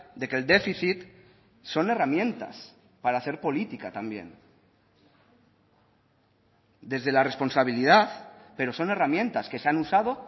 de que el déficit son herramientas para hacer política también desde la responsabilidad pero son herramientas que se han usado